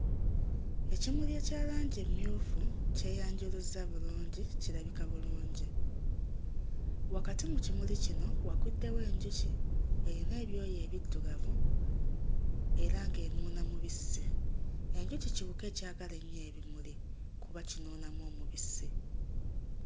Ekimuli ekya langi emmyufu kyeyanjuluzza bulungi, kirabika bulungi. Wakati mu kimuli kino waguddewo enjuki eyina ebyoya ebiddugavu era ng'enuuna mubisi. Enjuki kiwuka ekyagala ennyo ebimuli kuba kinuunamu omubisi.